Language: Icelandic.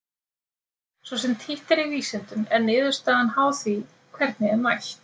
Svo sem títt er í vísindum er niðurstaðan háð því hvernig er mælt.